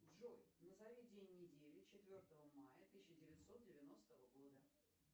джой назови день недели четвертого мая тысяча девятьсот девяностого года